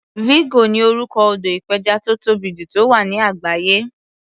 Vigo ni orúkọ odò ìpẹjà tó tóbì jù tó wà ní àgbáyé.